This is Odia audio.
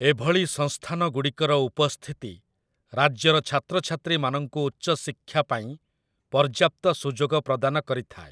ଏଭଳି ସଂସ୍ଥାନଗୁଡ଼ିକର ଉପସ୍ଥିତି ରାଜ୍ୟର ଛାତ୍ରଛାତ୍ରୀମାନଙ୍କୁ ଉଚ୍ଚଶିକ୍ଷା ପାଇଁ ପର୍ଯ୍ୟାପ୍ତ ସୁଯୋଗ ପ୍ରଦାନ କରିଥାଏ ।